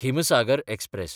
Himsagar express